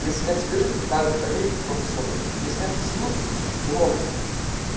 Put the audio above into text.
если нет свежести также долей просто содовую если от кислинки лимон